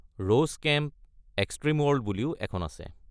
Rose Kemp: Extreme World বুলিও এখন আছে।